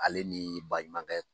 Ale ni baɲumankɛ